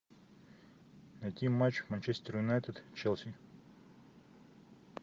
найти матч манчестер юнайтед челси